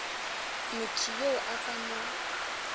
motho yo a ka mo